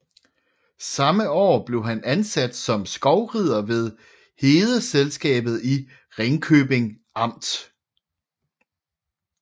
Samme år blev han ansat som skovrider ved Hedeselskabet i Ringkøbing Amt